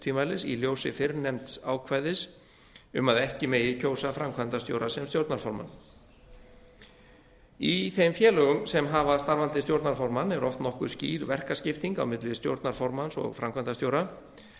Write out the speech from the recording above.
tvímælis í ljósi fyrrnefnds ákvæðis um að ekki megi kjósa framkvæmdastjóra sem stjórnarformann í þeim félögum sem hafa starfandi stjórnarformann er oft nokkuð skýr verkaskipting á milli stjórnarformanns og framkvæmdastjóra